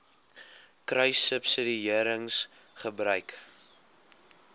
kruissubsidiëringgebruik